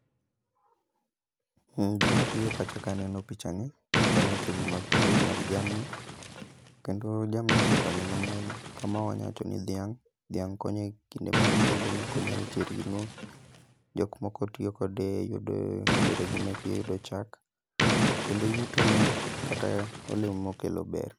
Gima bire pacha kaneno picha ni en weche go mag pur mag jamni, kendo jamni ose konyo mang'eny. Kama wanya wacho ni dhiang' dhiang' konyo e kinde mang'eny iyudo nokonyo e weche ring'o. Jok moko tiyo kode e yudo yore gi meke yudo chak, kendo yuto ne kata olemo mokelo ber.